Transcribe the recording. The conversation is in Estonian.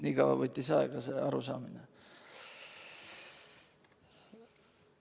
Nii kaua võttis arusaamine aega.